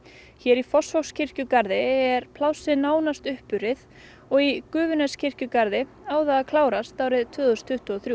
hér í Fossvogskirkjugarði er plássið nánast uppurið og í Gufuneskirkjugarði á það að klárast árið tvö þúsund tuttugu og þrjú